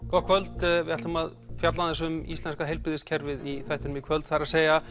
gott kvöld við ætlum að fjalla aðeins um íslenska heilbrigðiskerfið í þættinum í kvöld það er